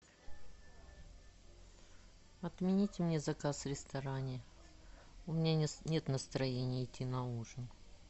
отменить мне заказ в ресторане у меня нет настроения идти на ужин